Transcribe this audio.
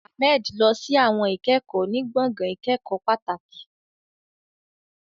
Ahmed lọ sí àwọn ìkẹ́kọ̀ọ́ ní gbọ̀ngàn ìkẹ́kọ̀ọ́ pàtàkì.